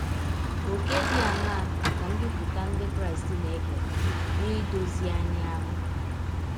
Ọ̀kè dị aṅaa ka mbipụta ndị Krịsti na - ekere n’idọzi anyị ahụ?